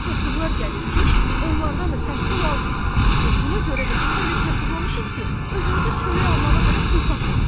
"Təkcə kasıblar gəlir ki, onlardan da sən pul almırsan və buna görə də indi elə kasıblamışıq ki, özümüzə çörək almağa belə pul tapmırıq!"